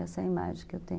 Essa é a imagem que eu tenho.